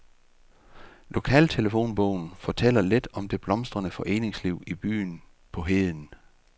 Lokaltelefonbogen fortæller lidt om det blomstrende foreningsliv i byen på heden.